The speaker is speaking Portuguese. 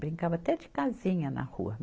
Brincava até de casinha na rua.